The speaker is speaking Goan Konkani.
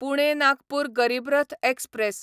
पुणे नागपूर गरीब रथ एक्सप्रॅस